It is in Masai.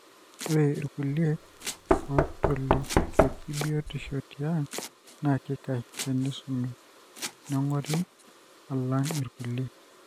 ore ilkulie otolikioki biotisho tiang na kikash tenisumi nengori alang ilkulie.